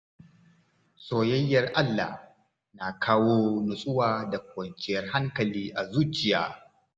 Soyayyar Allah na kawo nutsuwa da kwanciyar hankali a zuciya.